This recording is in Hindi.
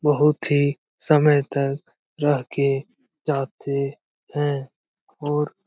बहुत ही समय तक रह के जाते हैं और --